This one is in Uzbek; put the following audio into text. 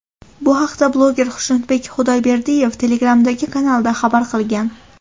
Bu haqda bloger Xushnudbek Xudoyberdiyev Telegram’dagi kanalida xabar qilgan .